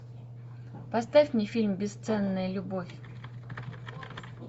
поставь мне фильм бесценная любовь